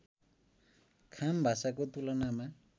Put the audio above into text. खाम भाषाको तुलनामा